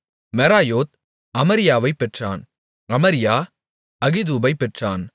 மெராயோத் அமரியாவைப் பெற்றான் அமரியா அகிதூபைப் பெற்றான்